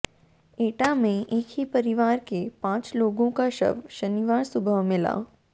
एटा में एक ही परिवार के पांच लोगों का शव शनिवार सुबह मिला